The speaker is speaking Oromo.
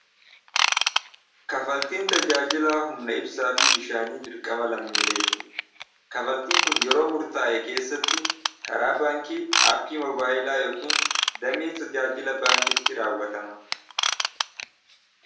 kafaltiin tajaajilaa humna ibsaa fi bishaanii birqama lammiileeti kafaltiin kun yeroo murtaa'e keessatti karaa baankii aappii mobaayilaa yookiin dam'e tajaajila baankitti raawwatama